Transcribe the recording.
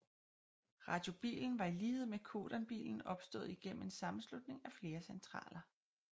Radio Bilen var i lighed med Codan Bilen opstået igennem en sammenslutning af flere centraler